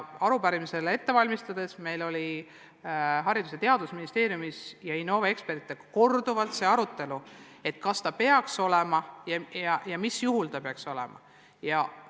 Arupärimisele vastamist ette valmistades oli meil Haridus- ja Teadusministeeriumis ja Innove ekspertidega korduvalt arutelu, kas seda peaks lugema erivajaduseks ja kui peaks, siis mis juhtudel.